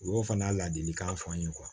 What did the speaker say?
U y'o fana ladilikan f'an ye